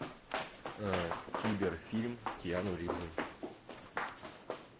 кибер фильм с киану ривзом